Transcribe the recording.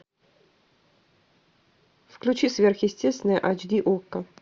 включи сверхъестественное айч ди окко